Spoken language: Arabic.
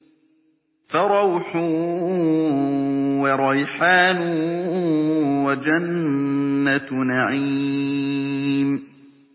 فَرَوْحٌ وَرَيْحَانٌ وَجَنَّتُ نَعِيمٍ